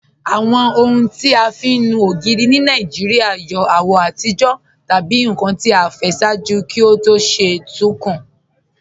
Awọn ọhun ti a fi nú ogiri ni Nigeria yọ awọ atijọ tabi nkan ti aifẹ ṣaaju kí o tó ṣe tun kun.